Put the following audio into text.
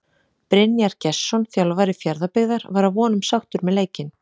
Brynjar Gestsson þjálfari Fjarðabyggðar var að vonum sáttur með leikinn.